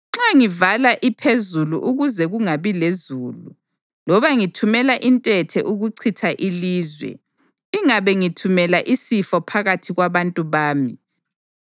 Nxa ngivala iphezulu ukuze kungabi lezulu, loba ngithumela intethe ukuchitha ilizwe, ingabe ngithumela isifo phakathi kwabantu bami,